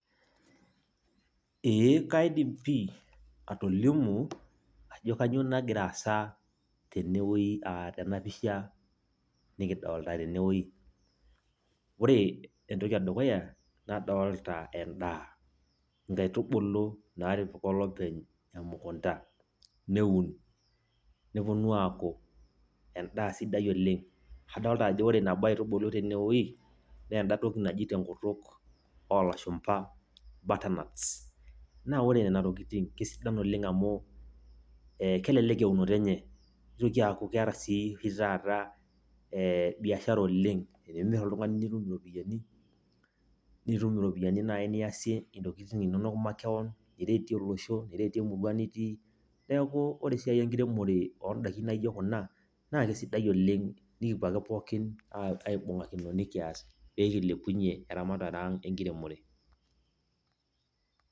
Ee kaidim pi atolimu ajo kainyioo nagira aasa tenewuei aa tena pisha nikidolta tene wuei. Ore entoki edukuya nikidolta endaa, nkaitubulu natipika olopeny emukunta, neun , neponu aaku endaa sidai oleng. Adolta nabo aitubulu tene wueji naa enda toki naji tenkutuk olashumba butternuts. Naa ore nena tokitin naa kisidan amu kelelek eunoto enye , nitoki aaaku keeta sii taata ee biashara oleng. Tenimir oltungani nitum iropiyiani, nitum iropiyiani naji niasie isiatin makewon, iret olosho , niretie emurua nitii. Niaku ore esiai enkiremore ondaikin naijo kuna naa kesidai oleng , nikipuo ake pookin aibungakino , nikias pee kilepunyie eramatare ang enkiremore.